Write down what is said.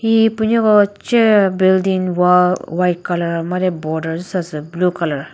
hihi püneko che building wall white colour made border züsa sü blue colour .